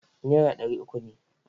Nera ɗari uku ne.